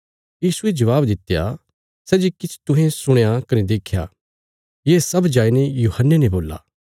यीशुये जबाब दित्या सै जे किछ तुहें सुणया कने देख्या ये सब जाईने यूहन्ने ने बोल्ला